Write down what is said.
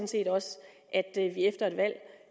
set også at vi efter et valg